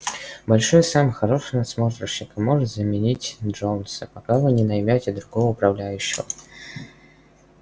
большой сэм хороший надсмотрщик и может заменить джонса пока вы не наймёте другого управляющего